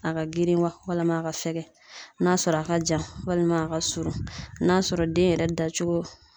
A ka girin wa, walima a ka fɛkɛ , n'a sɔrɔ a ka jan, walima a ka surun ,n'a sɔrɔ den yɛrɛ da cogo